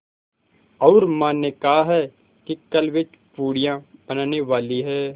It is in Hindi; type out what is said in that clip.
और माँ ने कहा है कि कल वे पूड़ियाँ बनाने वाली हैं